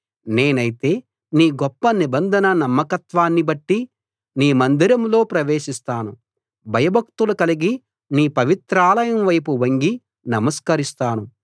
నేనైతే నీ గొప్ప నిబంధన నమ్మకత్వాన్ని బట్టి నీ మందిరంలో ప్రవేశిస్తాను భయభక్తులు కలిగి నీ పవిత్రాలయం వైపు వంగి నమస్కరిస్తాను